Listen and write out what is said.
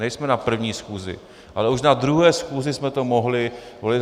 Nejsme na první schůzi, ale už na druhé schůzi jsme to mohli volit.